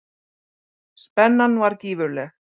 Spennan var gífurleg.